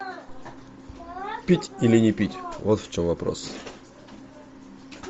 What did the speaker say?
пить или не пить вот в чем вопрос